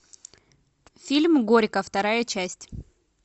фильм горько вторая часть